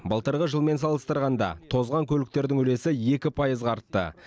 былтырғы жылмен салыстырғанда тозған көліктердің үлесі екі пайызға артты